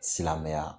Silamɛya